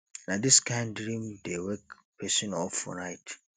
na dis kain dream dey wake pesin up for night